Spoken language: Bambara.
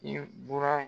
I bura